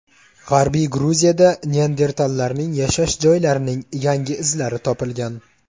G‘arbiy Gruziyada neandertallarning yashash joylarining yangi izlari topilgan.